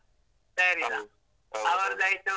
.